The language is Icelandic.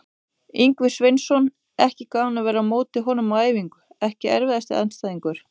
Ingvi Sveinsson, ekki gaman að vera á móti honum á æfingu EKKI erfiðasti andstæðingur?